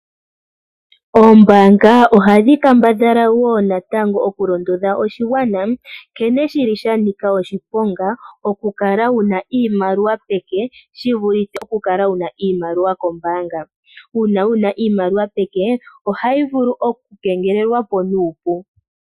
Oombaanga ohadhi kambadhala okulondodha oshigwana nkene sha nika oshiponga oku kala wuna iimaliwa peke. Oku kala wuna iimaliwa peke ohayi kengelelwa po nuupu.